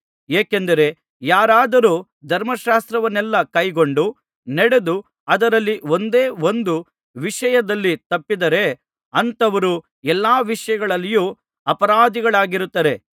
ಏಕೆಂದರೆ ಯಾರಾದರೂ ಧರ್ಮಶಾಸ್ತ್ರವನ್ನೆಲ್ಲಾ ಕೈಕೊಂಡು ನಡೆದು ಅದರಲ್ಲಿ ಒಂದೇ ಒಂದು ವಿಷಯದಲ್ಲಿ ತಪ್ಪಿದರೆ ಅಂಥವರು ಎಲ್ಲಾ ವಿಷಯಗಳಲ್ಲಿಯೂ ಅಪರಾಧಿಯಾಗಿರುತ್ತಾರೆ